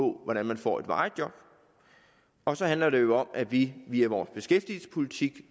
hvordan man får et varigt job og så handler det om at vi via vores beskæftigelsespolitik